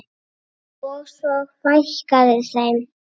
Og svo fækkaði þeim.